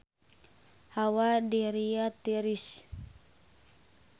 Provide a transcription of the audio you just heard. Hawa di Riyadh tiris